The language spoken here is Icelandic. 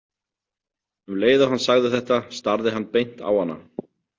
Um leið og hann sagði þetta, starði hann beint á hana.